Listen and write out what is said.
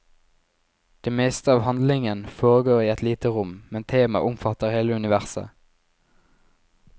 Det meste av handlingen foregår i et lite rom, men temaet omfatter hele universet.